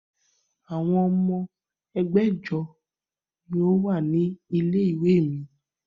Àwọn ọmọ ẹgbẹ̀jọ ni ó wà ní ilé-ìwé mi.